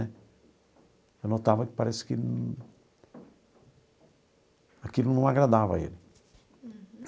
Eu notava que parece que aquilo não agradava a ele.